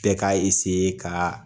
Bɛɛ ka ka